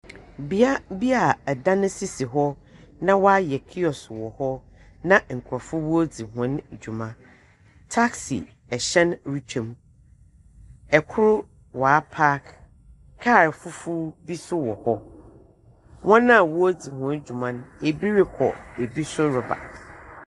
Bea bi a dan sisi hɔ na wɔayɛ kiosk wɔ hɔ , na nkorɔfo woridzi hɔn dwuma. Taxi hyɛn retwa mu. Kor waapark. Kaal fufuw bi nso wɔ hɔ. Hɔn a woridzi hɔm dwuma no. bi rokɔ, bi nso reba.